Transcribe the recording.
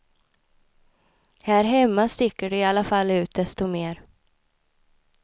Här hemma sticker de i alla fall ut desto mer.